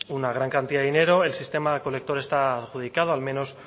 una gran cantidad de dinero el sistema recolector está adjudicado al menos